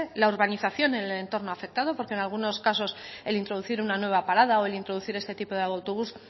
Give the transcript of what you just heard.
la urbanización en el entorno afectado porque en algunos casos el introducir una nueva parada o el introducir este tipo de autobús